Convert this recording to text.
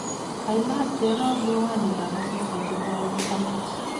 kailach Jerop miwanikab asista che koalei amut